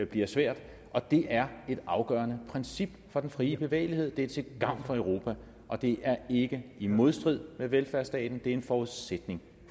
bliver svært og det er et afgørende princip for den frie bevægelighed det er til gavn for europa og det er ikke i modstrid med velfærdsstaten det er en forudsætning